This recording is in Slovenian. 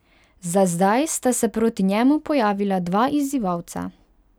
Za zdaj sta se proti njemu pojavila dva izzivalca.